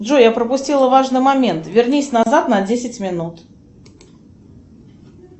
джой я пропустила важный момент вернись назад на десять минут